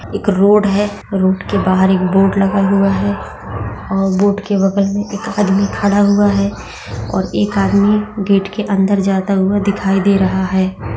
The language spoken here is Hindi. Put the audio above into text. एक रोड है रोड के बाहर के बाहर एक बोर्ड लगा हुआ है बोर्ड के बगल मे एक आदमी खड़ा हुआ है और एक आदमी गेट के अंदर जाता हुआ दिखाई दे रहा है।